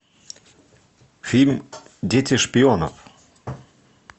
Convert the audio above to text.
фильм дети шпионов